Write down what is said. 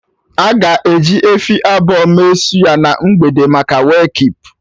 Aga eji efi abụọ mee suya na mgbede maka Wake keep